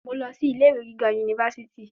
Mo lọ sí ilé-ìwe gíga yunifásítì.